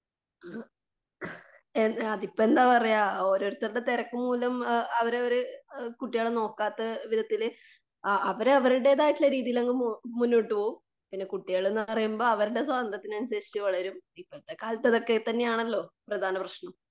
അഹ് എ അതിപ്പം എന്താ പറയുക ഓരോരുത്തരുടെ തിരക്കുമൂലം ആ അവരവര് കുട്ടികളെ നോക്കാത്ത വിധത്തില് ആ അവരരുടേതായ രീതിയില് അങ്ങ് മുന്നോട്ട് പോകും.പിന്നെ കുട്ടികളെന്നു പറയുമ്പോൾ അവര് അവരുടെ സ്വാത്ര്യത്തിനനുസരിച്ചു വളരും. ഇപ്പത്തെ കാലത്തു അതൊക്കെ തന്നെയാണല്ലോ പ്രധാന പ്രശ്നം.